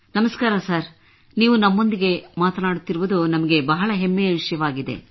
ನಮಸ್ಕಾರ ಸರ್ ನೀವು ನಮ್ಮೊಂದಿಗೆ ಮಾತನಾಡುತ್ತಿರುವುದು ನಮಗೆ ಬಹಳ ಹೆಮ್ಮೆಯ ವಿಷಯವಾಗಿದೆ